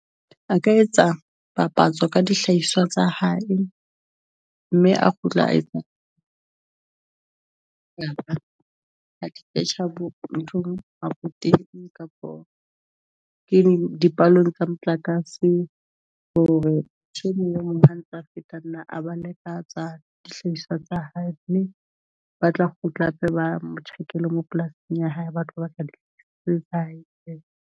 A ka etsa papatso ka dihlahiswa tsa hae, mme a kgutla nthong abuti kapa ke dipalong tsa motlakase hore e mong antsa feta nna a ba leka tsa dihlahiswa tsa hae, ba tla kgutla hape ba mo check ele mo polasing ya hae, ba tlo batla e .